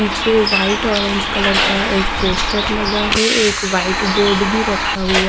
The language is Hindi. पीछे वाइट ऑरेंज कलर का एक पोस्टर लगा है। एक व्हाइट बोर्ड भी रखा हुआ--